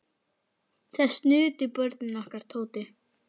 Þess nutu börnin okkar Tótu.